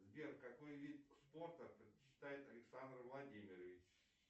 сбер какой вид спорта предпочитает александр владимирович